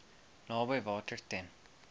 naby water ten